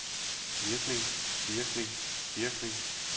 virkning virkning virkning